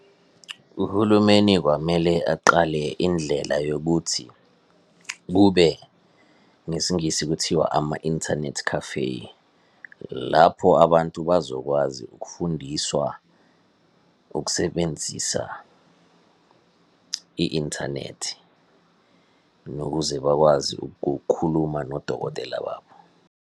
Uhulumeni kwamele aqale indlela yokuthi, kube ngesiNgisi kuthiwa ama-internet cafe. Lapho abantu bazokwazi ukufundiswa ukusebenzisa i-inthanethi nokuze bakwazi ukukhuluma nodokotela wabo.